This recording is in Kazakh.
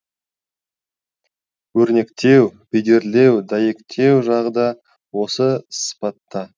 өрнектеу бедерлеу дәйектеу жағы да осы сыпатта